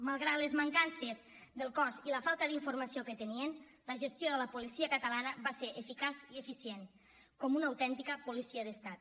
malgrat les mancances del cos i la falta d’informació que tenien la gestió de la policia catalana va ser eficaç i eficient com una autèntica policia d’estat